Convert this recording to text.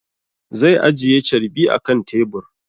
Zai ajiye carbi akan tebur